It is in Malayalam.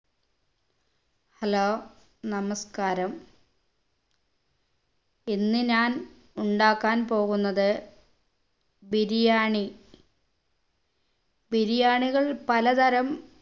hello നമസ്ക്കാരം ഇന്ന് ഞാൻ ഉണ്ടാക്കാൻ പോകുന്നത് ബിരിയാണി ബിരിയാണികൾ പലതരം